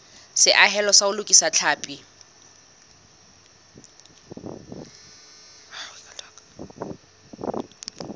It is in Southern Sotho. seahelo sa ho lokisa tlhapi